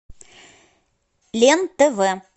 лен тв